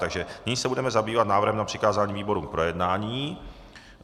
Takže nyní se budeme zabývat návrhem na přikázání výborům k projednání.